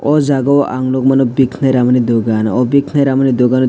o jaga o ang nog mano bikanai ramani dogan o bikanai ranamu dogan o.